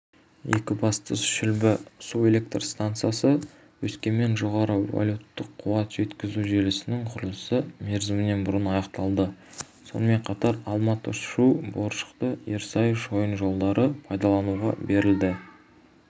екібастұз-шүлбі су электр стансасы-өскемен жоғары вольттық қуат жеткізу желісінің құрылысы мерзімінен бұрын аяқталды сонымен қатар алматы-шу боржақты-ерсай шойын жолдары пайдалануға берілді